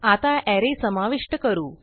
आता अरे समाविष्ट करू